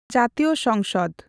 ᱡᱟᱛᱤᱭ ᱥᱝᱥᱚᱫ᱾.